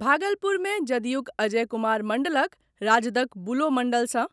भागलपुर मे जदयूक अजय कुमार मंडलक राजदक बुलो मंडल सॅ,